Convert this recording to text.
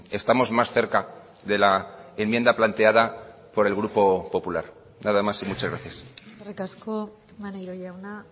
estamos más cerca de la enmienda planteada por el grupo popular nada más y muchas gracias eskerrik asko maneiro jauna